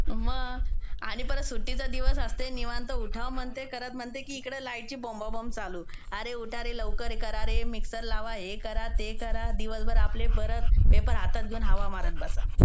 मग. आणि परत सुट्टीचा दिवस असते निवांत उठाव म्हणते आणि परत म्हणते तिकडे लाईटची बोंबाबोंब चालू. अरे उठा रे लवकर, हे करा रे, मिक्सर लावा. हे करा, ते करा. दिवसभर आपले परत पेपर हातात घेऊन हवा मारत बसा.